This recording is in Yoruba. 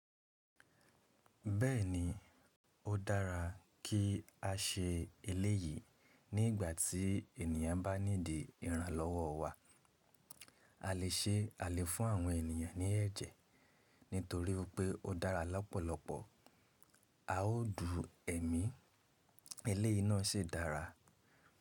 Bẹ́ẹ̀ni, ó dára kí a ṣe eléyìí. Ní ìgbàtí ènìyàn bá need ìrànlọ́wọ́ wa a lè ṣe a lè fún àwọn ènìyàn ní ẹ̀jẹ̀ nítorípé ó dára ní ọ̀pọ̀lọpọ̀. A ó dùú ẹ̀mí eléyi náà sì dára.